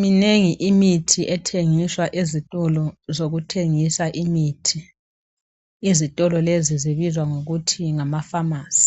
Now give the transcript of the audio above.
Minengi imithi ethengiswa ezitolo zokuthengisa imithi, izitolo lezi zibizwa ngokuthi ngama pharmacy